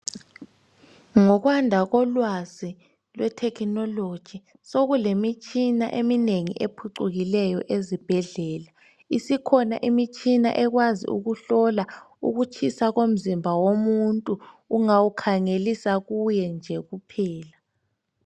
Ngokwanda kolwazi lwethekhinoloji sekulemitshina eminengi ephucukileyo ezibhedlela. Isikhona imitshina ekwazi ukuhlola ukutshisa komzimba womuntu ungawukhangelisa kuye nje kuphela.